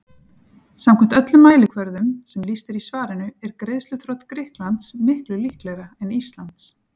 Samkvæmt öllum mælikvörðum sem lýst er í svarinu er greiðsluþrot Grikklands miklu líklegra en Íslands.